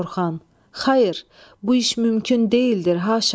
Orxan: Xayır, bu iş mümkün deyildir haşa.